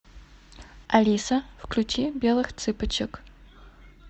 алиса включи белых цыпочек